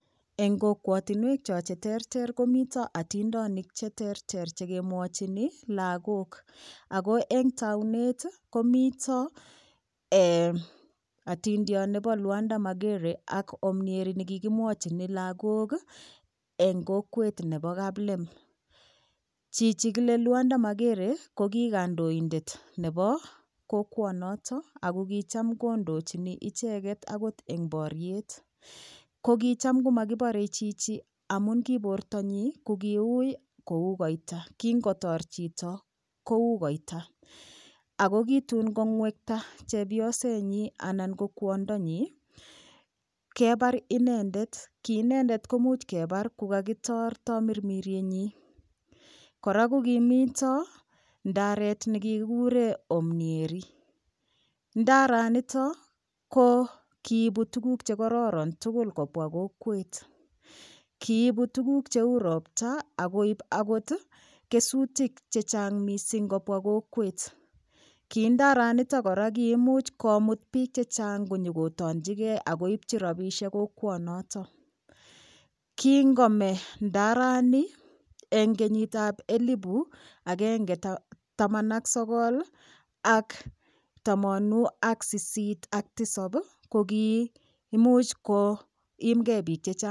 Eng' kokwotinwek cho cheterter komito atindonik cheterter chekemwochini lakok ako eng' taunet komito atindiot nebo Lwanda Magere ak omnieri nekikochini lakok eng' kokwet nebo kaplem chichi kile Lwanda Magere ko ki kandoindet nebo kokwonotilo ako kicham kondochini icheget akot eng' boriet ko kicham komakiborei chichi amun ki bortonyi ko kiui kou koita kingotor chito kou koita ako ki tuun kong'wekta chepyosenyi anan ko kwondonyi kebar inendet ki inendet komuch kebar kukakitor tamirmiryenyi kora kokimito ndaret nekekikikure omnieri ndaranito ko kiibu tukuk chekororon tugul kobwa kokwet kiibu tukuk cheu ropta akoib akot kesutik chechang' mising' kobwa kokwet ki ndara nito kora ko koimuch komut biik chechang' konyikotonjikei akeibchi robishek kokwonoto kingome ndarani eng' kenyitab elibu agenge taman ak sogol ak tamanu ak sisit ak risop ko kiimuch koimgei biik chechang'